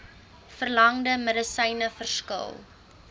verlangde medisyne verskil